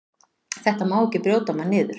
Þetta má ekki brjóta mann niður.